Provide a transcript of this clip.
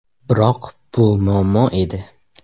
Biroq bu muammo edi.